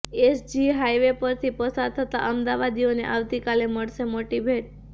SG highway પરથી પસાર થતા અમદાવાદીઓને આવતીકાલે મળશે મોટી ભેટ